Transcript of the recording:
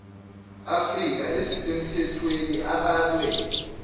afrika ezisemthethweni abalwe